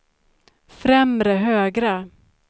främre högra